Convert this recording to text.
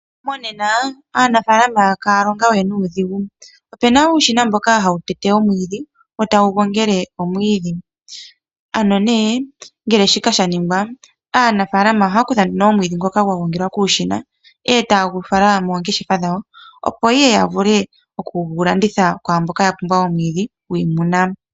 Monena aanafaalama kaya longa we nuudhigu. Opena uushina mboka hawu tete omwiidhi wo tawu gongele omwiidhi, ano ne ngele shika shaningwa aanafaalama ohaya kutha nduno mwiidhi ngoka gwagongelwa kuushina e tayegufala moongeshefa dhawo opo ihe yavule okugulanditha kwaamboka yapumbwa omwiidhi gwiimuna.